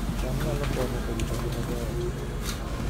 cham nyalo konyo e rito ngima joot